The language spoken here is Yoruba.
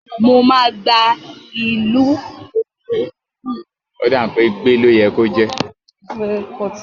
Mo máa gbé Alùpùpù náà lọ sí ilé mẹ́kò láti ṣàyẹ̀wò rẹ̀